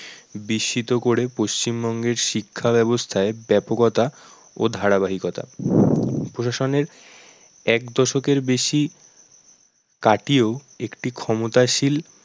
বিস্মিত করে পশ্চিমবঙ্গের শিক্ষা ব্যবস্থায় ব্যাপকতা ও ধারাবাহিকতা এক দশকের বেশি কাটিয়েও একটি ক্ষমতাশীল